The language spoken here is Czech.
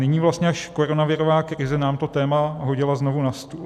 Nyní vlastně až koronavirová krize nám to téma hodila znovu na stůl.